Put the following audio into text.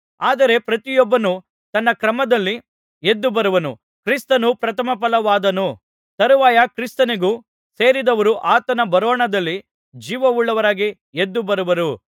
ಆದರೆ ಪ್ರತಿಯೊಬ್ಬನು ತನ್ನ ಕ್ರಮದಲ್ಲಿ ಎದ್ದುಬರುವನು ಕ್ರಿಸ್ತನು ಪ್ರಥಮಫಲವಾದನು ತರುವಾಯ ಕ್ರಿಸ್ತನಿಗೆ ಸೇರಿದವರು ಆತನ ಬರೋಣದಲ್ಲಿ ಜೀವವುಳ್ಳವರಾಗಿ ಎದ್ದು ಬರುವರು